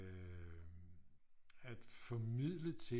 At formidle ting